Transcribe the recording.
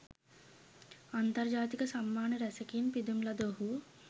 අන්තර්ජාතික සම්මාන රැසකින් පිදුම් ලද ඔහු